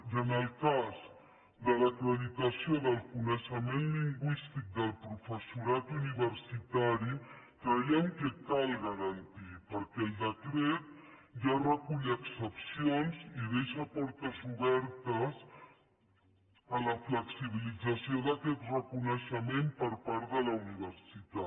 i en el cas de l’acreditació del coneixement lingüístic del professorat universitari creiem que cal garantir la perquè el decret ja recull excepcions i deixa portes obertes a la flexibilització d’aquest reconeixement per part de la universitat